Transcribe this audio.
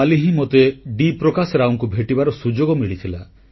କାଲି ହିଁ ମୋତେ ଡି ପ୍ରକାଶ ରାଓଙ୍କୁ ଭେଟିବାର ସୁଯୋଗ ମିଳିଥିଲା